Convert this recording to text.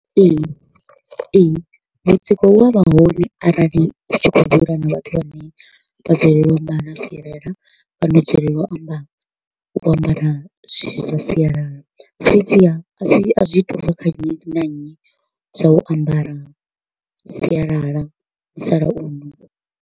Ee, ee, mutsiko u a vha hone arali tshi kho u dzula na vhathu vhane vha dzulela u ambara sialala fhano dzulela u amba u ambara zwithu zwa sialala. Fhedziha a si a zwi to u vha kha nnyi na nnyi zwau ambara sialala musalauno.